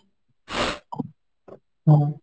হ্যাঁ